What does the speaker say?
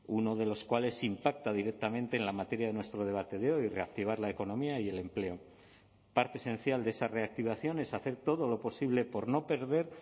uno de los cuales impacta directamente en la materia de nuestro debate de hoy reactivar la economía y el empleo parte esencial de esa reactivación es hacer todo lo posible por no perder